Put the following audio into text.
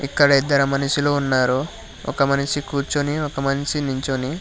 ఇక్కడ ఇద్దరు మనుషులు ఉన్నారు ఒక మనిషి కూర్చుని ఒక మనిషి నించోని.